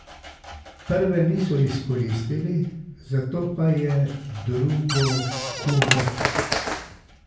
Prve niso izkoristili, zato pa je drugo Kurek.